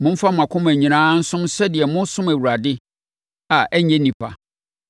Momfa mo akoma nyinaa nsom sɛdeɛ moresom Awurade a ɛnnyɛ nnipa,